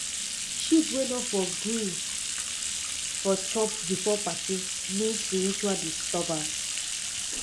sheep wey no for gree for chop before party mean spiritual disturbance